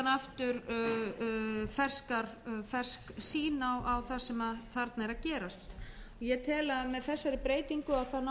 og síðan aftur fersk sýn á það sem þarna er að gerast ég tel að með þeirri breytingu náum við að